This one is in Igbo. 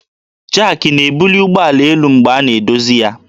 Jak na-ebuli ụgbọala elu mgbe a na-edozi taya